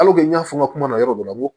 n y'a fɔ n ka kuma na yɔrɔ dɔ la